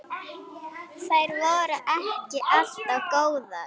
Þær voru ekki alltaf góðar.